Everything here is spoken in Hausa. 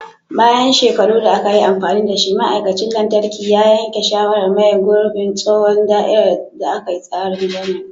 Bayan shekaru da aka yi amfani da shi, ma'aikacin lantarki ya yanke shawarar maye gurbin tsohuwar da'irar da tsarin zamani.